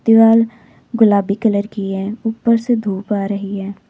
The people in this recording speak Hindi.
दीवाल गुलाबी कलर की है ऊपर से धूप आ रही है।